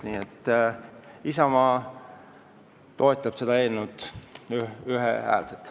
Nii et Isamaa toetab seda eelnõu ühehäälselt.